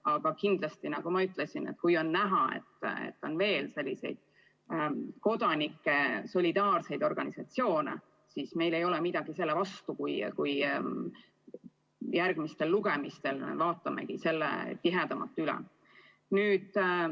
Aga kindlasti, nagu ma ütlesin, kui on näha, et on veel selliseid solidaarseid kodanike organisatsioone, siis meil ei ole midagi selle vastu, kui me järgmistel lugemistel vaatame teksti selle pilguga üle.